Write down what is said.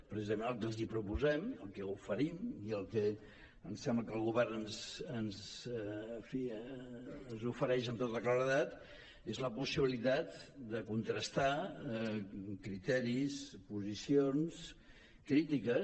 precisament el que els proposem el que els oferim i el que em sembla que el govern en fi ens ofereix amb tota claredat és la possibilitat de contrastar criteris posicions crítiques